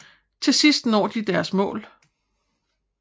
Til sidst når de deres mål